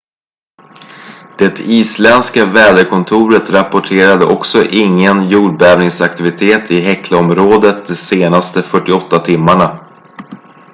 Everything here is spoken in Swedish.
det isländska väderkontoret rapporterade också ingen jordbävningsaktivitet i heklaområdet de senaste 48 timmarna